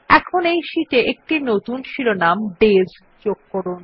এখন এই শিট এ একটি নতুন শিরোনাম ডেস যোগ করুন